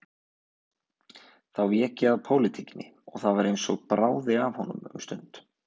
Þá vék ég að pólitíkinni og það var eins og bráði af honum um stund.